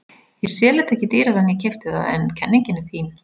Ég sel þetta ekki dýrara en ég keypti það en kenningin er fín.